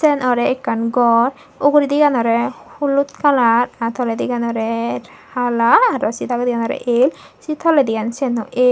arow ekan gor uguraydi eanoray holut colour aye tolaydiganoray hala saye dagadi olay eale saye tolaydi seane ow eale.